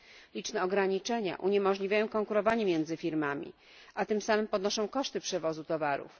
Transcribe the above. Liczne ograniczenia uniemożliwiają konkurowanie między firmami, a tym samy podnoszą koszty przewozu towarów.